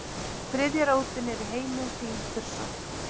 þriðja rótin er í heimi hrímþursa